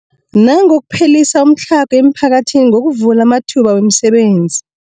Nangokuphelisa umtlhago emiphakathini ngokuvula amathuba wemisebenzi.